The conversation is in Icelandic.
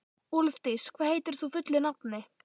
Úlfdís, hvað heitir þú fullu nafni?